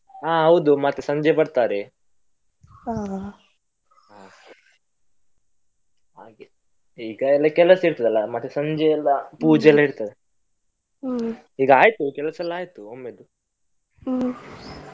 ಹಾಗೆ. ಹಾಗೆ ಈಗ ಎಲ್ಲಾ ಕೆಲಸ ಇರ್ತದಲ್ಲ, ಮತ್ತೆ ಸಂಜೆಯೆಲ್ಲ ಪೂಜೆಯೆಲ್ಲ ಇರ್ತದೆ. ಈಗ ಆಯ್ತು ಕೆಲಸ ಎಲ್ಲಾ ಆಯ್ತು.